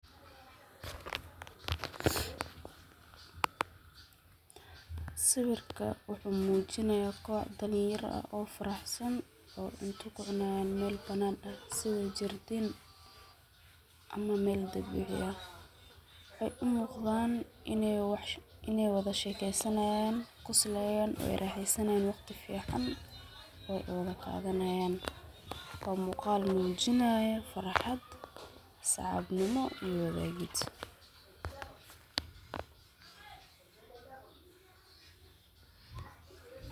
Siwirka muxumujinaya qoox dalinyara ah oo faraxsan, oo cunta kucunayan mel banan ah, sidha jirdiin ama mel dabici ah, waxay umugdan inay wadashekeysanayan, qoslayan oy raxeysanayan, wagti fican oy qadanayan, wa mugaal mujinayo farxat, saxibnimo iyo wadagid.